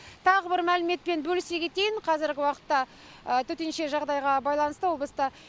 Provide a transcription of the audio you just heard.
тағы бір мәліметпен бөлісе кетейін қазіргі уақытта төтенше жағдайға байланысты облыста